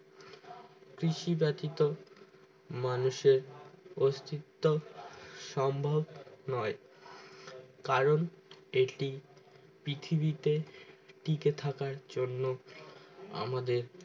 কৃষি ব্যাথিত মানুষের অস্তিত্ব সম্ভব নোই কারণ এটি পৃথিবীতে টিকে থাকার জন্য আমাদের